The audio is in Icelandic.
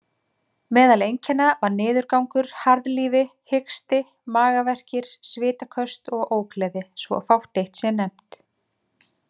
Meðal einkenna var niðurgangur, harðlífi, hiksti, magaverkir, svitaköst og ógleði, svo fátt eitt sé nefnt.